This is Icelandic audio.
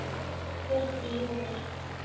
Kvöld í júní.